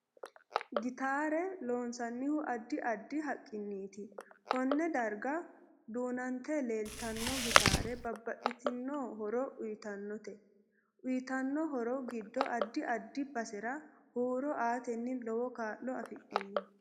Gitaare lonsanihu addi addi haqiniiti konne darga duunante leelanno gitaara babbaxitinno horo uytanote uyiitanno horo giddo addi addi basera huuro aate lowo kaa'lo afidhinno